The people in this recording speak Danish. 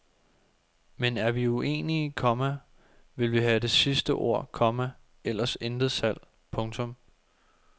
Men er vi uenige, komma vil vi have det sidste ord, komma ellers intet salg. punktum